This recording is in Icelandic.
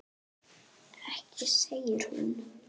Ekki segir hún.